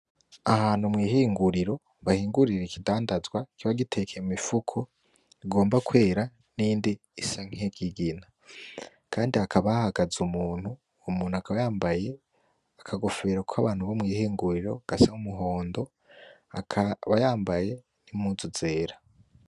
Ahantu mw'ihinguriro, bahingurira ikidandazwa kiba gitekeye mumifuko bigomba kwera niyindi isa nk'iyikigina, kandi hakaba hahagaze umuntu, uwo muntu akaba yambaye akagofero kabantu bo mw'ihinguriro gasa umuhondo, akaba yambaye nimpuzu zera.